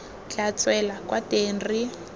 tla tswela kwa teng re